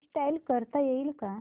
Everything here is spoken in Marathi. इंस्टॉल करता येईल का